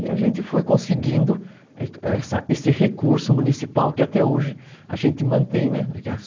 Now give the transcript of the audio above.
E a gente foi conseguindo esse recurso municipal que até hoje a gente mantém, né?